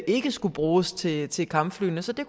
ikke skulle bruges til til kampflyene så det